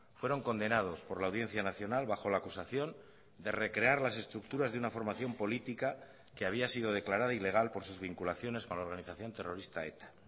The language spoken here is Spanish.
fueron condenados por la audiencia nacional bajo la acusación de recrear las estructuras de una formación política que había sido declarada ilegal por sus vinculaciones con la organización terrorista eta